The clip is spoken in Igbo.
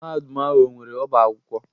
Mahadum ahụ ọ nwere ọbá akwụkwọ?